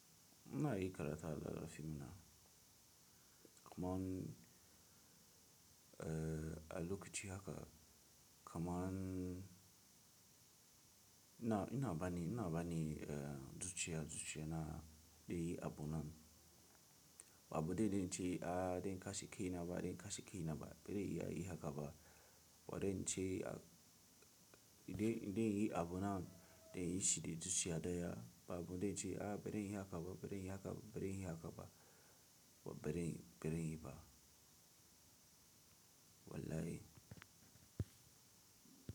Ina yi karatu a Lalafi mana. Kaman, eh, a lokaci haka kaman ina, ina bani, ina bani, eh, zuciya, zuciya na dai ai abun nan. Ba abu daidai ba ince, "Ah, dan in kashe kaina ba, kashe kaina ba, bari iya yi haka ba. Ware ince a, "idan, idan yi abunnan da inyi shi da zuciya daya." Ba abunda ince, "Ah, bari inyi haka ba, bari inyi haka ba, bari inyi haka ba." Wa bari, baranyi ba. Wallahi.